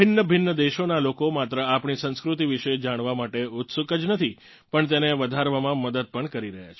ભિન્નભિન્ન દેશોનાં લોકો માત્ર આપણી સંસ્કૃતિ વિશે જાણવાં માટે ઉત્સુક જ નથી પણ તેને વધારવામાં મદદ પણ કરી રહ્યાં છે